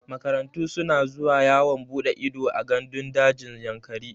Makarantu suna zuwa yawon buɗe ido a gandun dajin Yankari.